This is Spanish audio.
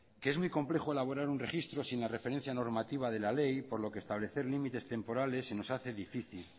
que es muy complejo elaborar un registro sin la referencia normativa de la ley por lo que establecer límites temporales se nos hace difícil